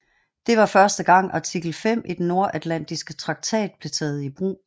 Det var første gang artikel 5 i den Nordatlantiske Traktat blev taget i brug